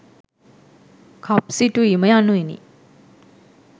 කප් සිටුවීම යනුවෙනි.